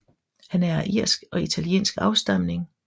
Han er af irsk og italiensk afstamning